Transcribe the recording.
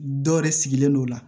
Dɔ yɛrɛ sigilen don o la